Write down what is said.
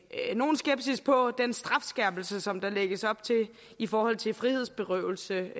nogen skepsis på den strafskærpelse som der lægges op til i forhold til frihedsberøvelse